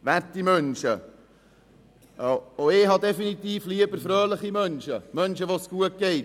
Werte Menschen, auch ich habe definitiv lieber fröhliche Menschen, Menschen, denen es gut geht.